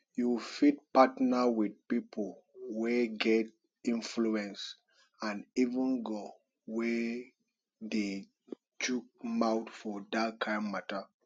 you fit partner with pipo wey get influence and even ngo wey dey chook mouth for dat kind matter